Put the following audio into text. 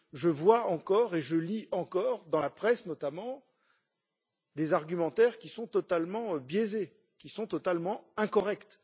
Je vois encore et je lis encore dans la presse, notamment, des argumentaires qui sont totalement biaisés, qui sont totalement incorrects.